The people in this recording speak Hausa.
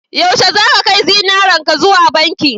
yaushe zaka kai zinarenka zuwa banki